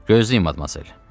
Gözləyin admarcel.